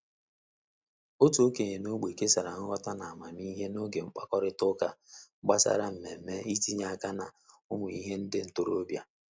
Otu okenye n'ogbe kesara nghọta na amamihe n'oge mkpakorịta ụka gbasara mmemme i tinye aka na ụmụ ihe nde ntorobịa.